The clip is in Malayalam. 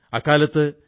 അക്കാലത്ത് ഡോ